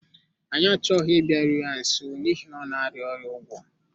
Anyị achọghị ịbịaru ya nso n’ihi na ọ na-arịa ọrịa ugwo.